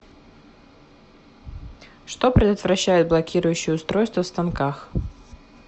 что предотвращают блокирующие устройства в станках